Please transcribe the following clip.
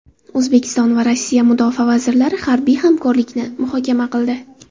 O‘zbekiston va Rossiya mudofaa vazirlari harbiy hamkorlikni muhokama qildi.